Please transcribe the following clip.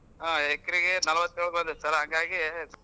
ಹ್ಮ್ ಎಕರೆಗೆ ನಲ್ವತ್ತೇಳು ಬಂದೈತ್ sir ಹಂಗಾಗಿ.